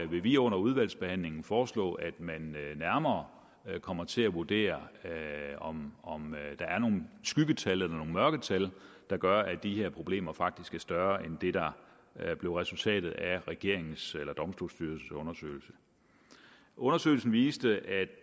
vil vi under udvalgsbehandlingen foreslå at man nærmere kommer til at vurdere om om der er nogle skyggetal eller nogle mørketal der gør at de her problemer faktisk er større end det der blev resultatet af regeringens eller domstolsstyrelsens undersøgelse undersøgelsen viste at